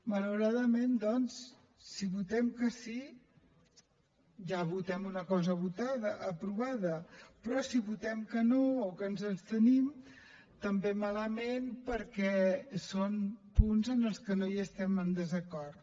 ma lauradament doncs si votem que sí ja votem una cosa aprovada però si votem que no o ens abstenim també malament perquè són punts en els que no estem en desacord